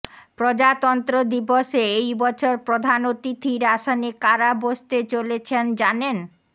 প্রজাতন্ত্র দিবসে এই বছর প্রধান অতিথির আসনে কারা বসতে চলেছেন জানেন